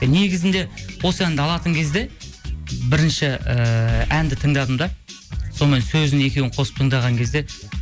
негізінде осы әнді алатын кезде бірінші ііі әнді тыңдадым да сонымен сөзін екеуін қосып тыңдаған кезде